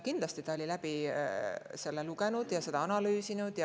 Kindlasti ta oli selle läbi lugenud ja seda analüüsinud.